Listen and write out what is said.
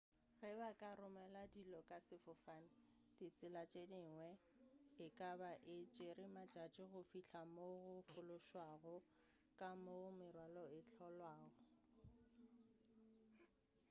ge ba ka romela dilo ka sefofane ka ditsela tše dingwe e ka be e tšere matšatši go fihla mo go fološwago le ka moo merwalo e hlolwago